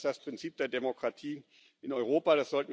Und das ist das Prinzip der Demokratie in Europa.